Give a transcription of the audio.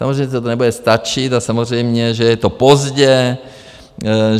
Samozřejmě že to nebude stačit a samozřejmě že je to pozdě.